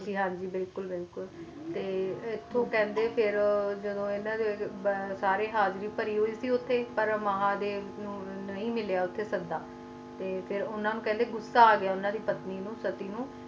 ਹਨ ਜੀ ਹਨ ਜੀ ਬਿਲਕੁਲ ਤੇ ਇਥੁ ਜਦੋ ਸਾਰੀ ਹਾਜ਼ਰੀ ਪਾਈ ਹੁਈ ਸੀ ਪਾਰ ਮਹਾਦੇਵ ਨੂੰ ਗ਼ੁੱਸਾ ਆ ਗਯਾ ਤੇ ਉਨ੍ਹਾਂ ਦਦੀ ਪਤਨੀ ਨੂੰ ਸਤੀ ਨੂੰ